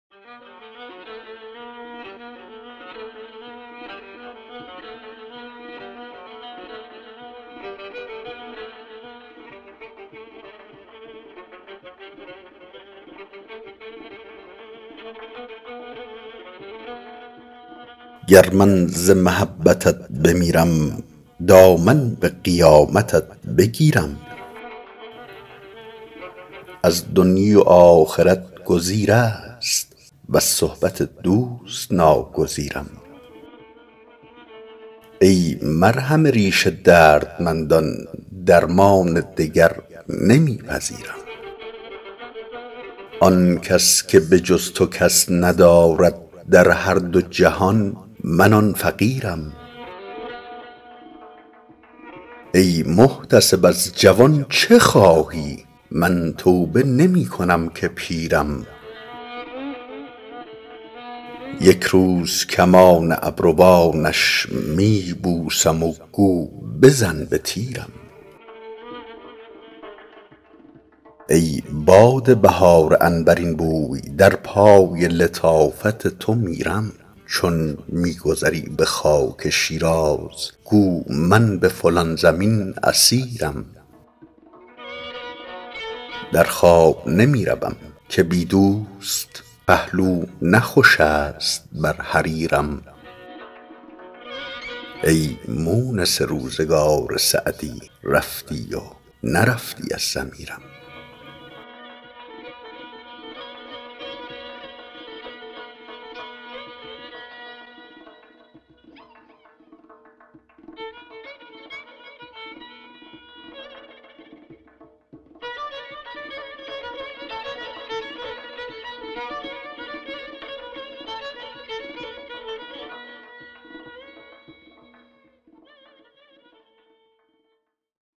گر من ز محبتت بمیرم دامن به قیامتت بگیرم از دنیی و آخرت گزیر است وز صحبت دوست ناگزیرم ای مرهم ریش دردمندان درمان دگر نمی پذیرم آن کس که به جز تو کس ندارد در هر دو جهان من آن فقیرم ای محتسب از جوان چه خواهی من توبه نمی کنم که پیرم یک روز کمان ابروانش می بوسم و گو بزن به تیرم ای باد بهار عنبرین بوی در پای لطافت تو میرم چون می گذری به خاک شیراز گو من به فلان زمین اسیرم در خواب نمی روم که بی دوست پهلو نه خوش است بر حریرم ای مونس روزگار سعدی رفتی و نرفتی از ضمیرم